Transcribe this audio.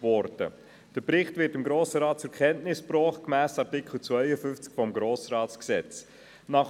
Gemäss Artikel 52 des Gesetzes über den Grossen Rat (Grossratsgesetz, GRG) wird dem Grossen Rat der Bericht zur Kenntnis gebracht.